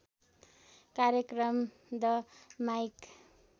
कार्यक्रम the mic